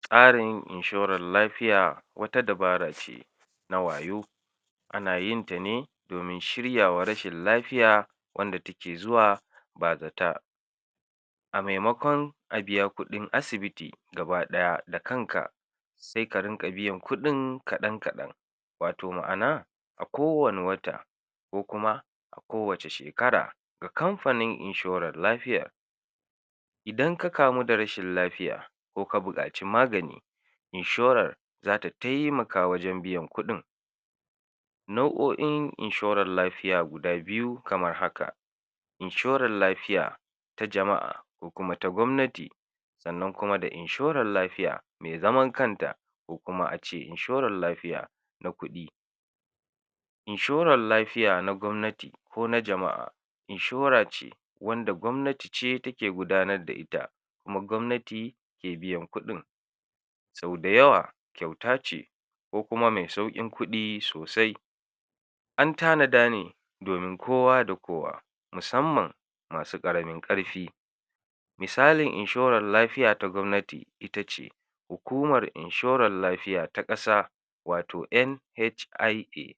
Tsarin inshoran lafiya wata dabarace na wayo, ana yinta ne domin shiryawa rashin lafiya wanda take zuwa ba zata, a maimakon a biya kuɗin asibiti gaba ɗaya da kanka, se ka rinƙa biyan kuɗin kaɗan kaɗan, wato ma'ana a kowane wata ko kuma a kowace shekara da kamfanin inshoran lafiya, idan ka kamu da rashin lafiya ko ka buƙaci magani inshorar zata taimaka wajen biyan kuɗin, nau'o'in inshorar lafiya guda biyu kamar haka: Inshorar lafiya ta jama'a, ko kuma ta gwamnati, sannan kuma da inshorar lafiya me zaman kanta, ko kuma a ce inshorar lafiya na kuɗi, inshoral lafiya na gwamnati ko na jama'a inshora ce wanda gwamnatice take gudanadda ita, kuma gwamnati ke biyan kuɗin, sau da yawa kyautace ko kuma me sauƙin kuɗi sosai, an tanada ne domin kowa da kowa musamman masu ƙaramin ƙarfi, misalin inshoral lafiya ta gwamnati itace hukumar inshorar lafiya ta ƙasa wato NHIA,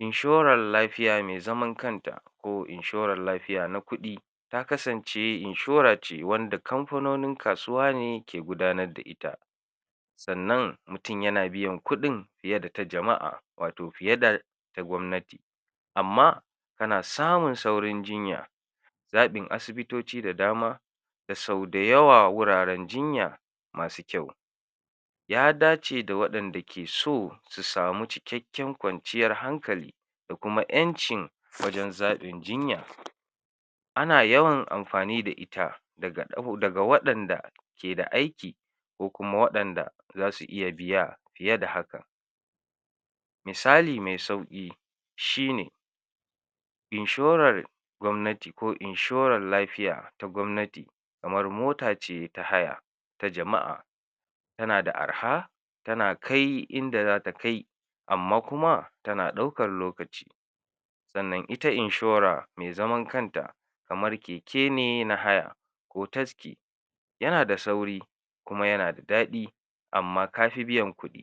inshoral lafiya me zaman kanta, ko inshoral lafiya na kuɗi ta kasance inshorace wanda kamfanonin kasuwa ke gudanadda ita, sannan mutin yana biyan kuɗin fiye da ta jama'a wato fiye da ta gwamnati, amma tana samun saurin jinya, zaɓin asibitoci da dama da sau da yawa wuraren jinya masu kyau, ya dace da waɗanda ke so su samu cikekken kwanciyar hankali da kuma ƴancin wajen zaɓin jinya, ana yawan amfani da ita daga ɗau...daga waɗanda keda aiki ko kuma waɗanda zasu iya biya fiye da haka, misali me sauƙi shine: Inshorar gwamnati ko inshorar lafiya ta gwamnati kamar mota ce ta haya ta jama'a, tana da arha tana kai inda zata kai amma kuma tana ɗaukar lokaci, sannan ita inshora me zaman kanta kamar keke ne na haya ko taski, yana da sauri kuma yana da daɗi amma kafi biyan kuɗi.